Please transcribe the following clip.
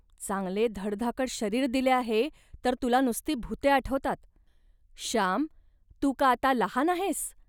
चांगले धडधाकट शरीर दिले आहे, तर तुला नसती भुते आठवतात. श्याम, तू का आता लहान आहेस